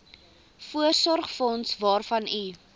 voorsorgsfonds waarvan u